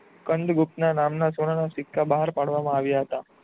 સ્કંદગુપ્ત નામનો સોના નો સિક્કા બાર પાડવામાં આવ્યા હતા.